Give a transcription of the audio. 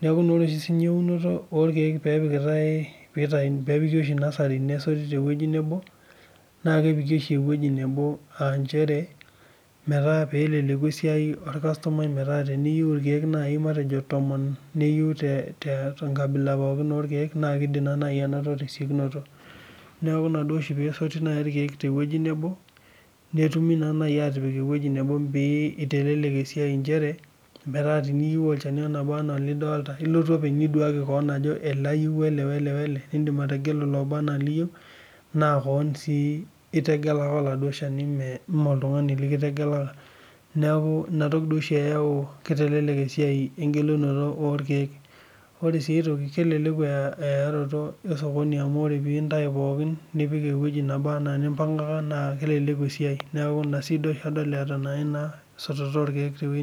Ketum oshi inyang'unoto orkiek peepikitae peepiki oshi nasari neitorit te wueji nebo naa kepiki oshi eweji nebo aa inchere metaa peeleleku esiai olkastomai metaa teniyeu irkiek nai matejo tomon, niyeu te nkabila pooki orkiek naa keidim nai anoto te siekunoto, naaku ina oshi peesoti irkiek te wueji nebo, netumi naa nai aatipiki ewueji nebo pee eitelelek esiai inchere metaa teniyeu olchani laba anaa lidolita, ilotu openy niduaki keon ajo ale ayeu o ale o ale ,nindim ategeluloba anaa liyeu naa keona sii itegeleka eladuo ilsheni mee iltungani likitegeleka, neaku inatoki doi oshi eyau eitelelek esiai engelunoto orkiek. Ore si aitoki keleleku earoto esokoni amu ore piintai pookin nipik ewueji nabo anaa nimpangaka aakeleleku esiai, naaku ina sii duo oshi adol eata naa ina esototo orkiek te wueji nebo.